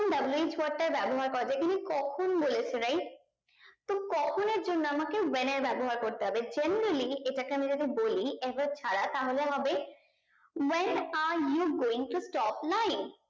wh word টা ব্যাবহার করা যাই ইনি কখন বলেছে right তো কখন এর জন্য আমাকে when এর ব্যাবহার করতে হবে generally এটাকে আমি যদি বলি ever ছাড়া তাহলে হবে when are you going to stop lying